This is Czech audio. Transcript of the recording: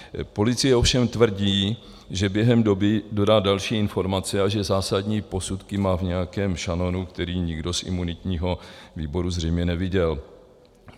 Policie ovšem tvrdí, že během doby dodá další informace a že zásadní posudky má v nějakém šanonu, který nikdo z imunitního výboru zřejmě neviděl.